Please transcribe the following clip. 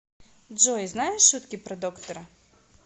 джой знаешь шутки про доктора